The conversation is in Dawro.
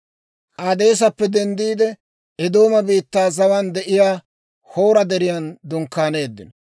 K'aadeesappe denddiide, Eedooma biittaa zawaan de'iyaa Hoora Deriyan dunkkaaneeddino.